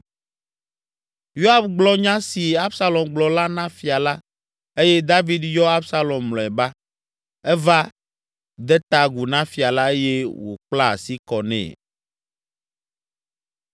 Yoab gblɔ nya si Absalom gblɔ la na fia la eye David yɔ Absalom mlɔeba. Eva, de ta agu na fia la eye wòkpla asi kɔ nɛ.